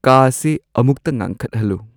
ꯀꯥ ꯑꯁꯤ ꯑꯃꯨꯛꯇ ꯉꯥꯟꯈꯠꯍꯜꯂꯨ